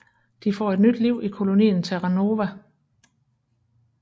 De får et nyt liv i kolonien Terra Nova